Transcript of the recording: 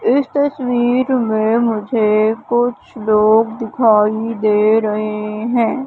इस तस्वीर में मुझे कुछ लोग दिखाई दे रहे हैं।